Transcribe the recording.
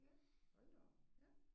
Ja hold da op. Ja